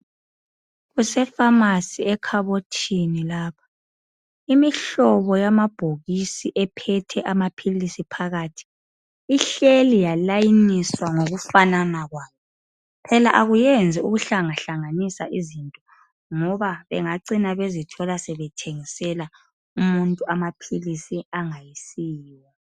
Kusefamasi ekhabothini lapha imihlobo yamabhokisi ephethe amaphilisi phakathi ihleli yalayiniswa ngokufanana kwayo, phela akwenzi ukuhlanga hlanganisa izinto ngoba bengacina bezithola sebethengisela umuntu amaphilisi angayisiwo.